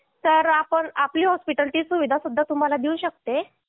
तर आपण आपली रुग्णालय ची सुविधा सुद्धा तुम्हाला देऊ शकते